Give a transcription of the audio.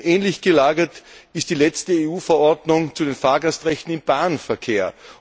Ähnlich gelagert ist die letzte EU Verordnung zu den Fahrgastrechten im Bahnverkehr.